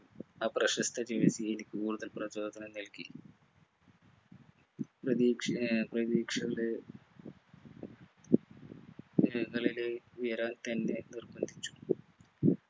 ആ പ്രശസ്ത ജീവിതത്തിൽ എനിക്ക് കൂടുതൽ പ്രചോദനം നൽകി പ്രതീക്ഷ ഏർ പ്രതീക്ഷ ഏർ കളില് ഉയരാൻ എന്നെ നിർബന്ധിച്ചു